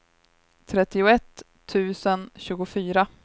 trettioett tusen tjugofyra